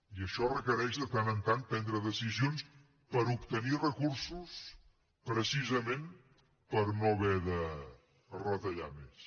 i això requereix de tant en tant prendre decisions per obtenir recursos precisament per no haver de retallar més